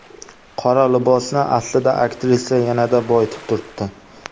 Qora libosni aslida aktrisa yanada boyitib turibdi.